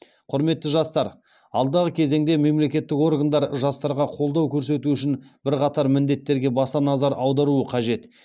құрметті жастар алдағы кезеңде мемлекеттік органдар жастарға қолдау көрсету үшін бірқатар міндеттерге баса назар аударуы қажет